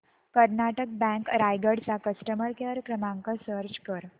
Karnataka bank Raigad चा customer care क्रमांक search कर